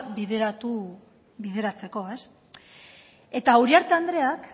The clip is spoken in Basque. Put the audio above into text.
bideratzeko eta uriarte andreak